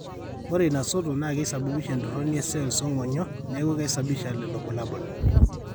Ore ina soto naa keisababisha entoroni e cells oo ng'onyo ,neeku keisababisha lelo bulabol,